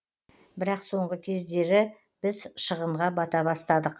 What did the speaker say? бірақ соңғы кездері біз шығынға бата бастадық